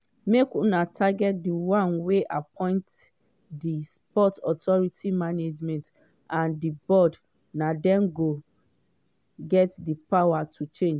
make una target di one wey appoint di sports authority management and di board na dem get di power to change.”